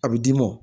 A bɛ d'i mɔ